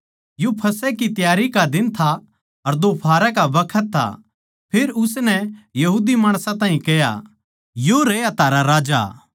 यो फसह की त्यारी का दिन था अर दोफाहरा का बखत था फेर उसनै यहूदी माणसां ताहीं कह्या यो रह्या थारा राजा